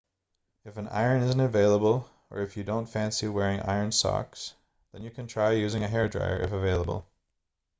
if an iron isn't available or if you don't fancy wearing ironed socks then you can try using a hairdryer if available